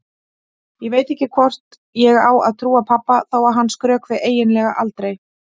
Ég veit ekki hvort ég á að trúa pabba þó að hann skrökvi eiginlega aldrei.